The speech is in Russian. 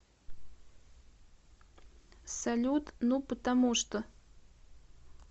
салют ну потому что